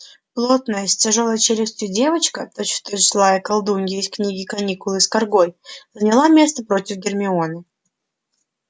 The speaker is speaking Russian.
плотная с тяжёлой челюстью девочка точь-в-точь злая колдунья из книги каникулы с каргой заняла место против гермионы